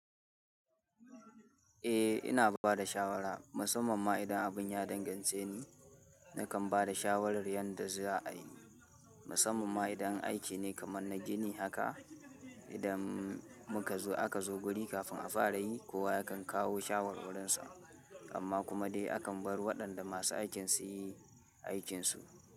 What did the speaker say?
Eh ina bada shawara musamman ma idan abun ya dangance ni nakan bada shawarar yanda za'a'i musamman ma idan aiki ne kamar na gini haka idan muka zo aka zo guri kafin a fara yi kowa yakan kawo shawarwarinsa amma kuma dai akan bar waɗanda masu aikin su yi aikinsu.